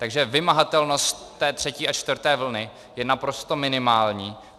Takže vymahatelnost té třetí a čtvrté vlny je naprosto minimální.